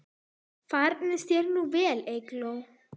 Farnist þér nú vel, Eygló.